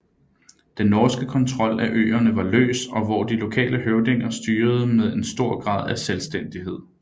Den norske kontrol af øerne var løs og hvor de lokale høvdinger styrede med en stor grad af selvstændighed